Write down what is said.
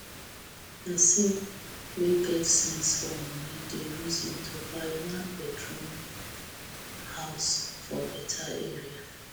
pesin wey get sense for moni dey reason to buy one bedroom house for beta area